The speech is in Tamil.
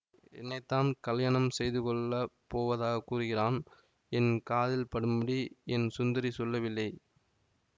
என்னைத்தான் கலியாணம் செய்துகொள்ளப் போவதாகக் கூறுகிறான் என் காதில் படும்படி என் சுந்தரி சொல்லவில்லை